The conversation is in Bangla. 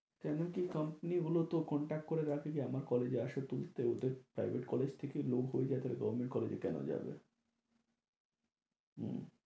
তেমন কী company গুলোও তো contact করে রাখে যে আমার college এ আসা তুলতে ওদের private college থেকেই লোক হয়ে যায় তাহলে government college এ কেন যাবে? উম